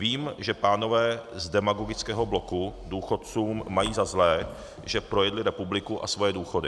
Vím, že pánové z demagogického bloku důchodcům mají za zlé, že projedli republiku a svoje důchody.